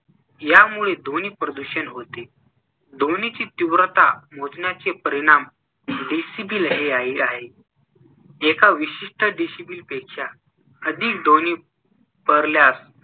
या मुळे ध्वनी प्रदूषण होते. ध्वनिची तीव्रता मोजण्याचे परिणाम डेसिबल हे आहे. एका विशिष्ट डेसिबलपेक्षा अधिक ध्वनि पसरल्यास